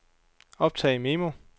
optag memo